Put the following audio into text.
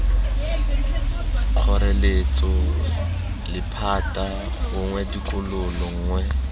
kgoreletso lephata gongwe tokololo nngwe